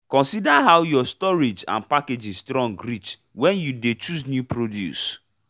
consider how your storage and packaging strong reach when you dey chose new produce